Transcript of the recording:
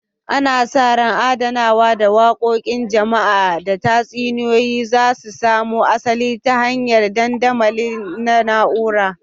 Ana sa ran adanawa da yada wakokin jama'a da tatsuniyoyi za su samo asali ta hanyar dandamali na na'ura